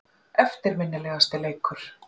Eftirminnilegasti leikur?